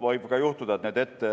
Võib ka juhtuda, et